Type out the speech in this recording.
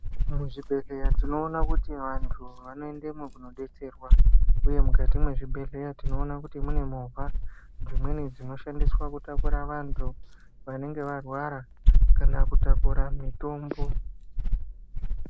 Muzvibhedhleya tinoona kuti vanthu vanoendemwo kunodetserwa uye mukati mwezvibhedhleya tinoona kuti mune movha dzimweni dzinoshandiswa kutaura vantu vanenge varwara kana kutakura mitombo.